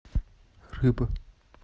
рыбы